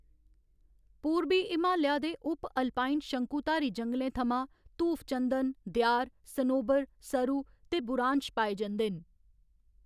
पूरबी हमालिया दे उप अल्पाइन शंकुधारी जंगलें थमां धूफचन्दन, देआर, सनोबर, सरू ते बुरांश पाए जंदे न।